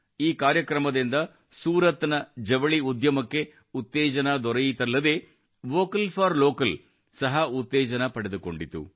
ಈ ಕಾರ್ಯಕ್ರಮದಿಂದ ಸೂರತ್ನ ಜವಳಿ ಉದ್ಯಮಕ್ಕೆ ಉತ್ತೇಜನ ದೊರೆಯಿತಲ್ಲದೆ ವೋಕಲ್ ಫಾರ್ ಲೋಕಲ್ ಸಹ ಉತ್ತೇಜನವನ್ನು ಪಡೆದುಕೊಂಡಿತು